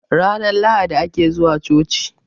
ranar lahadi ake zuwa choci